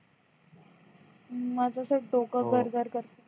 हम्म अस डोक गर गर करतय